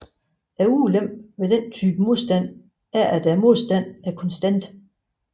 Ulempen ved denne type modstand er at modstanden er konstant